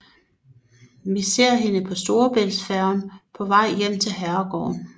Vi ser hende på storebæltsfærgen på vej hjem til herregården